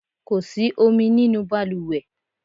Kó sì omi nínú baluwe